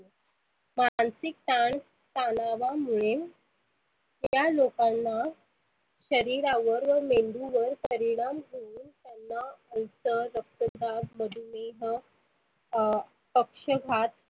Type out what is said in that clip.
मानसीक तान तनावामुळे त्या लोकांना शरिरावर व मेंदुवर परिनाम होऊन त्याना रक्त चाप, मधुमेह, अं पक्षपात,